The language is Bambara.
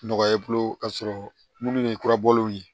Nɔgɔya i bolo k'a sɔrɔ minnu ye kurabɔlenw ye